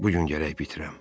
Bu gün gərək bitirəm.